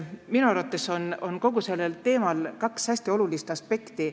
Minu arvates on kogu sellel teemal kaks hästi olulist aspekti.